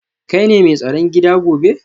Kai ne mai tsaron gida gobe